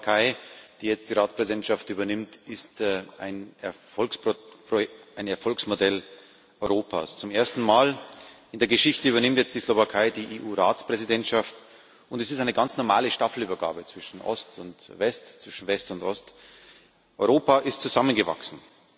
Die Slowakei, die jetzt die Ratspräsidentschaft übernimmt, ist ein Erfolgsmodell Europas. Zum ersten Mal in der Geschichte übernimmt jetzt die Slowakei die EU Ratspräsidentschaft, und es ist eine ganz normale Staffelübergabe zwischen Ost und West, zwischen West und Ost. Europa ist zusammengewachsen,